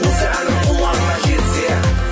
осы әнім құлағыңа жетсе